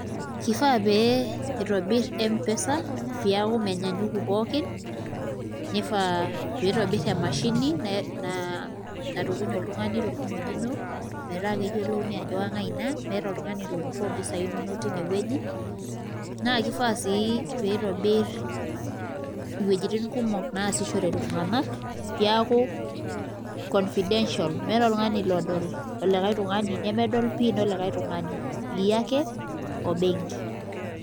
Kifaa pee itobirr Mpesa metaa menyanyuku pookin nifaa pee itobirr emashini natukuny oltung'ani torkimojino metaa keyioloi ajo kang'ai ina metaa oltung'ani opurro mpisaai inonok tinewueji naa kifaa sii pee itobirr iwuejitin kumok naasishore iltunganak peeku confidential meeta oltung'ani odol olikae tung'anak, nemedol PIN olikae tung'ani iyie ake o benk.